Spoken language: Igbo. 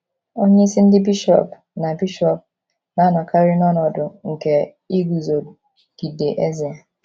Onyeisi ndị bishọp na - bishọp na - anọkarị n’ọnọdụ nke iguzogide eze.